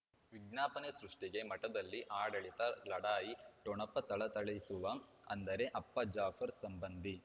ವಿಜ್ಞಾಪನೆ ಸೃಷ್ಟಿಗೆ ಮಠದಲ್ಲಿ ಆಡಳಿತ ಲಢಾಯಿ ಠೊಣಪ ಥಳಥಳಿಸುವ ಅಂದರೆ ಅಪ್ಪ ಜಾಫರ್ ಸಂಬಂಧಿ